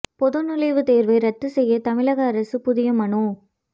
பொது நுழைவு தேர்வை ரத்து செய்ய தமிழக அரசு புதிய மனு